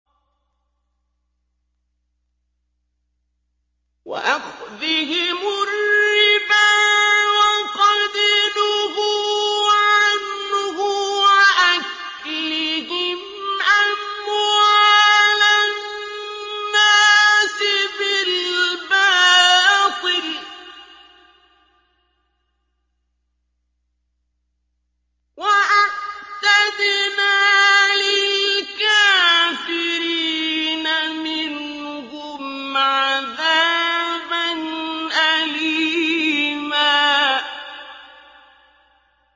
وَأَخْذِهِمُ الرِّبَا وَقَدْ نُهُوا عَنْهُ وَأَكْلِهِمْ أَمْوَالَ النَّاسِ بِالْبَاطِلِ ۚ وَأَعْتَدْنَا لِلْكَافِرِينَ مِنْهُمْ عَذَابًا أَلِيمًا